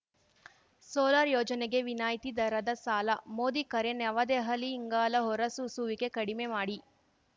solar ಯೋಜನೆಗೆ ವಿನಾಯ್ತಿ ದರದ ಸಾಲ ಮೋದಿ ಕರೆ ನವದೆಹಲಿ ಇಂಗಾಲ ಹೊರಸೂಸುವಿಕೆ ಕಡಿಮೆ ಮಾಡಿ